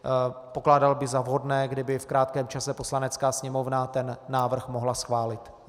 Pokládal bych za vhodné, kdyby v krátkém čase Poslanecká sněmovna ten návrh mohla schválit.